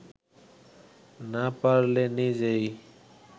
না পারলে নিজেই